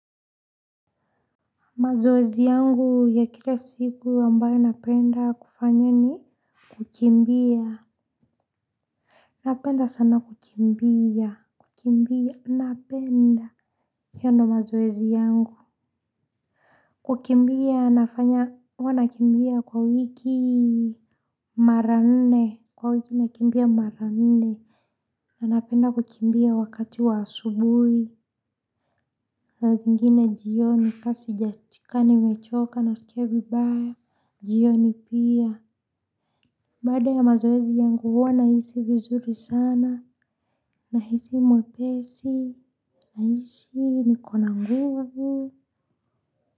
Mazoezi yangu ya kila siku ambayo napenda kufanya ni kukimbia. Napenda sana kukimbia. Kukimbia. Napenda. Hiyo ndio mazoezi yangu. Kukimbia nafanya. Wanakimbia kwa wiki mara nne. Kwa wiki nakimbia marane. Nanapenda kukimbia wakati wa asubuhi. Saa zingine jioni kama nimechoka naskia vibaya. Jiyo ni pia. Baada ya mazoezi yangu huwa nahisi vizuri sana nahisi mwepesi nahisi nikona nguvu.